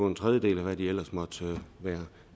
en tredjedel af hvad de ellers måtte være